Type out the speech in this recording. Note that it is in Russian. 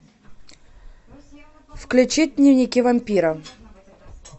включить дневники вампира